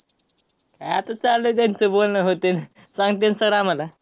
आता चालू आहे, त्यांचं बोलणं होतंय. सांगतील sir आम्हाला.